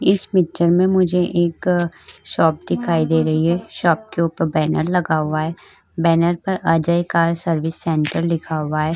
इस पिक्चर में मुझे एक शॉप दिखाई दे रही है। शॉप के ऊपर बैनर लगा हुआ है। बैनर के ऊपर अजय कार सर्विस लिखा हुआ है।